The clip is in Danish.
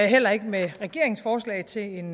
heller ikke med regeringens forslag til en